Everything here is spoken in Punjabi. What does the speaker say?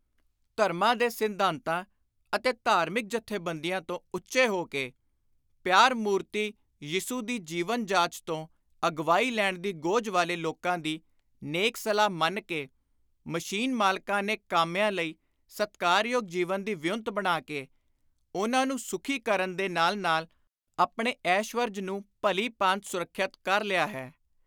ਧਰਮਾਂ ਦੇ ਸਿੱਧਾਂਤਾਂ ਅਤੇ ਧਾਰਮਕ ਜਥੇਬੰਦੀਆਂ ਤੋਂ ਉੱਚੇ ਹੋ ਕੇ, ਪਿਆਰ-ਮੁਰਤੀ ਯਿਸੁ ਦੀ ਜੀਵਨ-ਜਾਚ ਤੋਂ ਅਗਵਾਈ ਲੈਣ ਦੀ ਗੇਝ ਵਾਲੇ ਲੋਕਾਂ ਦੀ ਨੇਕ ਸਲਾਹ ਮੰਨ ਕੇ, ਮਸ਼ੀਨ-ਮਾਲਕਾਂ ਨੇ ਕਾਮਿਆਂ ਲਈ ਸਤਿਕਾਰਯੋਗ ਜੀਵਨ ਦੀ ਵਿਉਂਤ ਬਣਾ ਕੇ, ਉਨ੍ਹਾਂ ਨੂੰ ਸੁਖੀ ਕਰਨ ਦੇ ਨਾਲ ਨਾਲ ਆਪਣੇ ਐਸ਼ਵਰਜ ਨੂੰ ਭਲੀ ਭਾਂਤ ਸੁਰੱਖਿਅਤ ਕਰ ਲਿਆ ਹੈ।